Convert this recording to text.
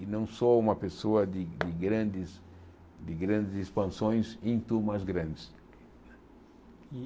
E não sou uma pessoa de de grandes de grandes expansões em turmas grandes.